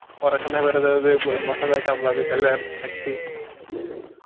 পড়াশুনা করে তাহলে আর থাকটি